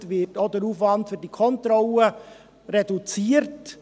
Dementsprechend wird auch der Aufwand für diese Kontrollen reduziert.